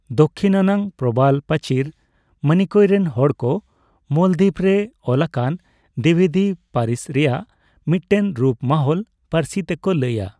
ᱫᱟᱠᱠᱷᱤᱱ ᱟᱱᱟᱜ ᱯᱨᱚᱵᱟᱞ ᱯᱟᱹᱪᱤᱨ, ᱢᱤᱱᱤᱠᱚᱭ ᱨᱮᱱ ᱦᱚᱲᱠᱚ ᱢᱟᱞᱫᱤᱯ ᱨᱮ ᱚᱞᱟᱠᱟᱱ ᱫᱤᱵᱮᱫᱤ ᱯᱟᱹᱨᱤᱥ ᱨᱮᱭᱟᱜ ᱢᱤᱫᱴᱮᱱ ᱨᱩᱯ, ᱢᱟᱦᱚᱞ ᱯᱟᱹᱨᱥᱤ ᱛᱮᱠᱚ ᱞᱟᱹᱭᱟ ᱾